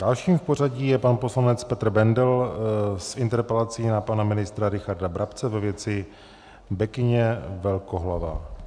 Dalším v pořadí je pan poslanec Petr Bendl s interpelací na pana ministra Richarda Brabce ve věci bekyně velkohlavé.